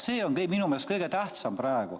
See on minu meelest praegu kõige tähtsam.